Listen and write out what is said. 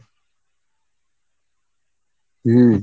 হম